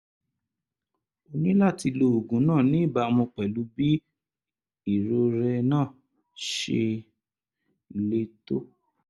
o ní láti lo oògùn náà ní ìbámu pẹ̀lú bí irorẹ́ náà ṣe le tó